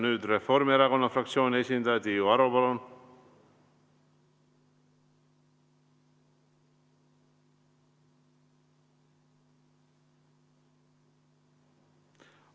Nüüd Reformierakonna fraktsiooni esindaja Tiiu Aro, palun!